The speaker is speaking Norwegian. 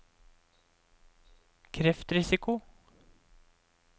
kreftrisiko